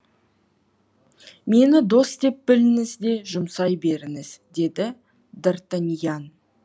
мені дос деп біліңіз де жұмсай беріңіз деді д артаниян